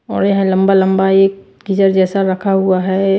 और यह लंबा-लंबा एक गिजर जैसा रखा हुआ है।